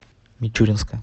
мичуринска